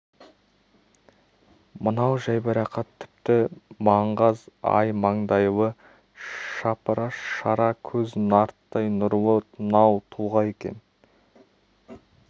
мынау жайбарақат тіпті маңғаз ай маңдайлы шапыраш шара көз нарттай нұрлы нау тұлға екен